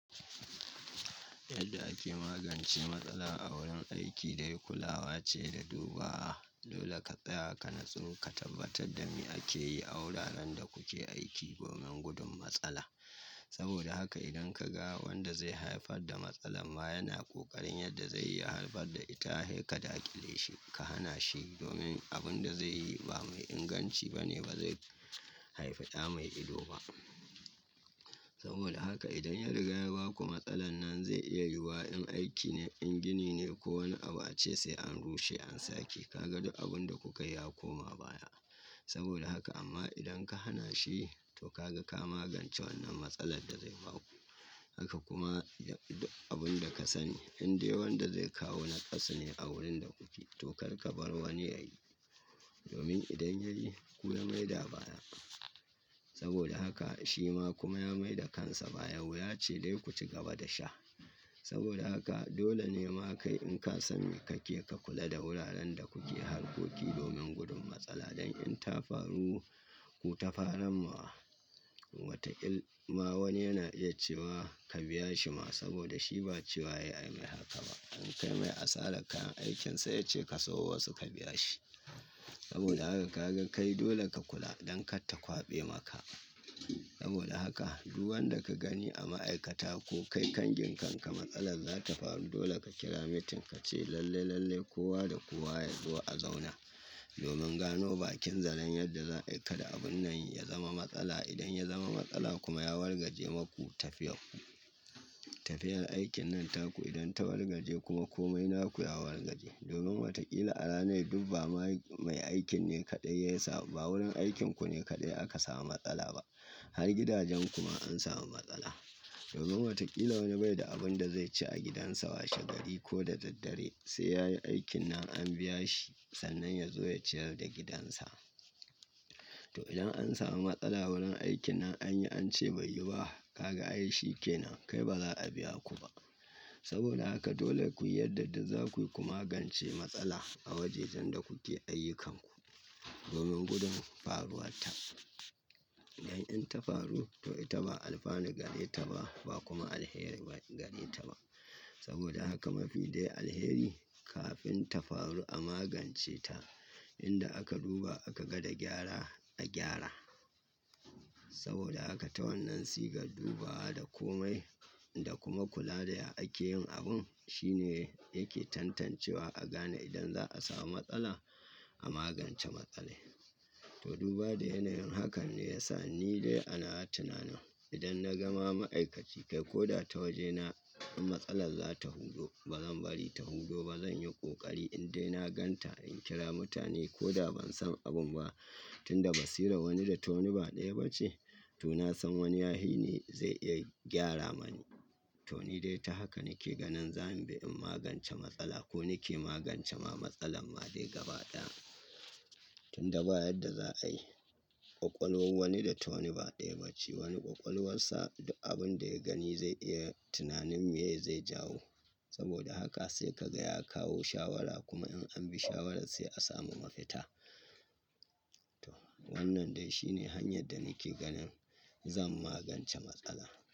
Yadda ake magance matsala a wurin aiki dai kulawa ce da duba. Dole ka tsaya ka natsu ka tabbatar da me ake yi a wuraren da kuke aiki domin gudun matsala. Saboda haka idan ka ga wanda zai haifar da matsalar ma yana ƙoƙarin yadda zai iya haifar da ita, sai ka dakile shi, ka hana shi domin abin da zai yi ba mai inganci ba ne ba zai haifi ɗa mai ido ba. Saboda haka idan ya riga ya baku matsalan nan zai iya yiwa in aiki ne, in gini ne ko wani abu ace sai an rushe an sake. Ka ga duk abin da kuka yi ya koma baya. Saboda haka amma idan ka hana shi to ka ga ka magance wannan matsalar da zai baku. Haka kuma duk abun da ka sani in dai wanda zai kawo naƙasu ne a wurin da kuke to karka bar wani ya yi. Domin idan ya yi kuya mai da baya. Saboda haka shi ma kuma ya mai da kansa baya. Wuyace dai ku ci gaba da sha. Saboda haka dole ne ma kai in ka sani kake ka kula da wuraren da kuke harkoki domin gudun matsala don in ta faru ku ta farar mawa waƙil ma wani yana iya cewa ka biya shi ma saboda shi ba cewa ya yi mai haka ba. In kai mai asarar kayan aikin sai ya ce ka so wasu ka biya shi. Saboda haka ka ga kai dole ka kula don kar ta kwaɓe maka. Saboda haka duk wanda ka gani a ma'aikata ko kai kanginkan ka matsalar za ta faru dole ka kira mutum ka ce lalle-lalle kowa da kowa ya zo a zauna. Domin gano bakin zaren yadda za a yi kada abun nan ya zama matsala. Idan ya zama matsala kuma ya wargaje maku tafiyar aikin nan taku. Idan ta wargaje kuma komai na ku ya wargaje. Domin wataƙila a ranar dubba ma mai aikin ne kaɗai ya lsa ba wurin aikinku ne kaɗai aka samu matsala ba. Har gidajen kuma an samu matsala. Domin wataƙila wani bai da abin da zai ci a gidansa washe gari ko da daddare sai yayi aikin nan an biya shi sannan ya zo ya ciyar da gidansa. To idan an samu matsala wurin aikin nan an yi an ce bai yi ba, ka ga ai shi ke nan kai ba za a biya ku ba. Saboda haka dole ku yi yadda duk za ku yi ku magance matsala a wajejen da kuke ayyukanku. Domin gudun faruwarta. Don in ta faru to ita ba alfani gare ta ba ba kuma alheri gare ta ba. Saboda haka mafi dai alheri kafin ta faru a magance ta. Inda aka duba aka ga da gyara a gyara. Saboda haka ta wannan sigar dubawa da komai da kuma kula da yadda ake yin abun shine yake tantancewa a gane idan za a samu matsala a magance matsalar. To duba da yanayin hakan ne ya sa ni dai anawa tunanin idan na gama ma'aikaci kai ko da ta wajena in matsalar za ta hudo ba zan bari ta hudo ba zan yi ƙoƙari in dai na gan ta in kira mutane ko da ban san abun ba. Tunda basirar wani da wani ba ɗaya ba ce to na san wani yafi ni zai iya gyara mani. To ni dai ta haka nake ganin za mu bi in magance matsala ko nake magance ma matsalar ma dai gaba ɗaya. Tunda ba yadda za a yi. Kwakwalwar wani data wani ba ɗaya ba ce. Wani kwakwalwarsa duk abin da ya gani zai iya tunanin meye zai jawo. Saboda haka sai ka ga ya kawo shawara kuma in an bi shawarar sai a samu mafita. To wannan dai shine hanyar da nake ganin za mu magance matsala.